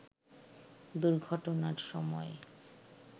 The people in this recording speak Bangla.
দুর্ঘটনার সময়